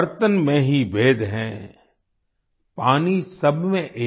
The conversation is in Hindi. बर्तन में ही भेद है पानी सब में एक